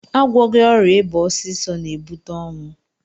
Agwọghị ọrịa ịba ọsịsọ na-ebute ọnwụ